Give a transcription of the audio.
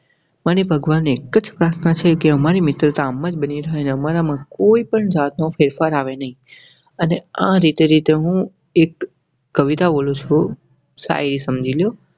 મને ભગવાને એક જ પ્રાર્થના છે કે અમારી મિત્રતા આમ જ બની રહે. અમારામાં કોઈ પણ જાતનો ફેરફાર આવે નહીં અને આ રીતે રીતે હું એક કવિતા બોલું છું શાયરી સમજી લો.